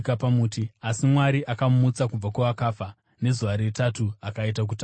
asi Mwari akamumutsa kubva kuvakafa nezuva retatu akaita kuti aonekwe.